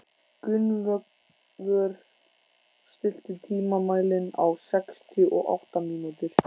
Gunnvör, stilltu tímamælinn á sextíu og átta mínútur.